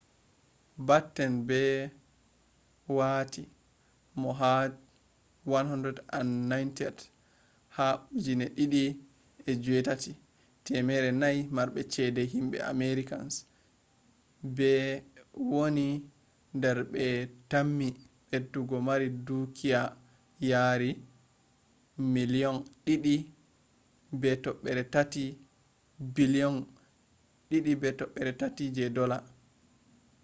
batten be wati mo ha 190th ha 2008 400 marbe chede himbe americans be wani dar be tammi bedo mari dukiya yari $2.3 billiom